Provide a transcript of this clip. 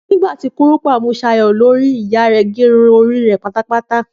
Nígbà tí kúrùpá mú Ṣayọ̀ lórí, ìyá rẹ̀ gẹ irun orí pátápátá